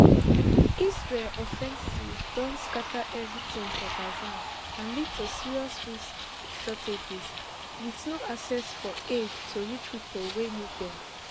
israel offensive don scata everytin for gaza and lead to serious food shortages wit no access for aids to reach pipo wey need dem